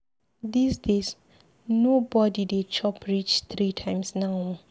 Dis days, no bodi dey chop reach three times now o.